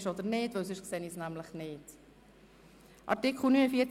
Ich möchte nämlich ein paar Artikel durchgehen, die wahrscheinlich unbestritten sind: